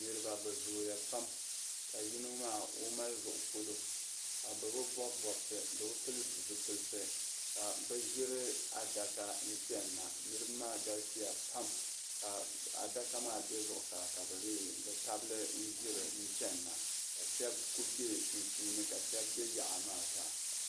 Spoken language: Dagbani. Niriba bɛ zooya pam ka yino maa mali zuɣu polo ka bɛ bi bɔbi bɔbisi bee zipilisi ka bɛ ʒiri adaka n-chani na niriba maa galisiya pam ka adaka maa be zuɣusaa ka bɛ n-tabi li ʒiri chani na bɛ shɛba ku be sunsuuni ka shɛba be yaɣa maa zaa.